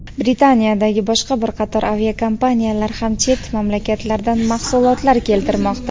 Britaniyadagi boshqa bir qator aviakompaniyalar ham chet mamlakatlardan mahsulotlar keltirmoqda.